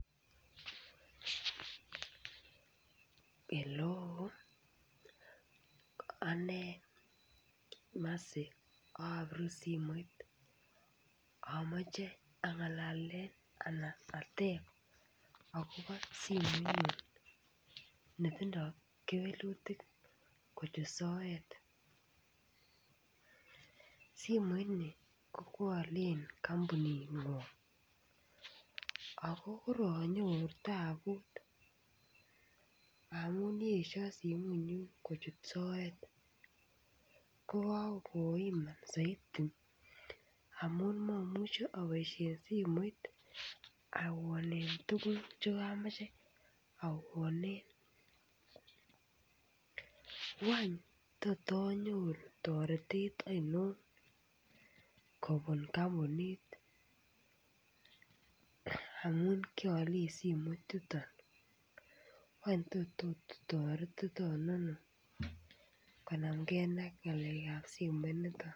Halloo ane mercy ak abirun simoit amache angalalen anan ateb akobo simoinyun netindoi kewelutik kochut soet Simon ini kokwo Alen kampuningwong ako koronyoru taput amun yesio simoinyun kochut soet ko kokoiman soiti amun mamuche aboisien simoit awonen tuguk Che kamache awonen wany tot anyoruu toretet ainon kobun kampunit amun kialen simoit yuton wany tot otoretiton ano konamge ak ngalekab simoinito